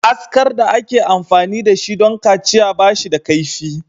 Askar da ake amfani da shi don kaciya ba shi da kaifi.